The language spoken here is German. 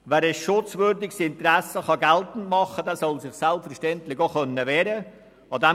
Wer ein schutzwürdiges Interesse geltend machen kann, soll sich selbstverständlich auch wehren können.